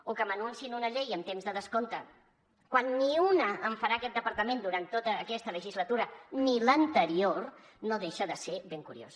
o que m’anunciïn una llei en temps de descompte quan ni una en farà aquest departament durant tota aquesta legislatura ni l’anterior no deixa de ser ben curiós